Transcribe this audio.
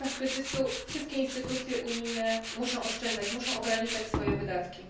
W czasach kryzysu wszystkie instytucje unijne muszą oszczędzać, muszą ograniczać swoje wydatki.